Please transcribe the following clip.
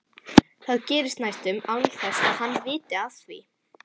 Það gerist næstum án þess að hann viti af því.